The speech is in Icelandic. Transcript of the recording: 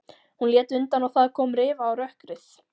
Hún lét undan og það kom rifa á rökkrið.